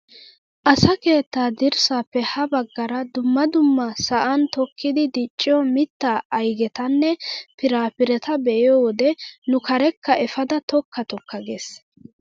Asa keettaa dirssaappe ha baggaara dumma dumma sa'an tokkidi dichchiyoo mittaa aygetanne piraapireta be'iyoo wode nu karekka efaada tokka tokka ges!